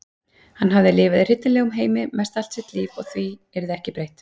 Hann hafði lifað í hryllilegum heimi mest allt sitt líf og því yrði ekki breytt.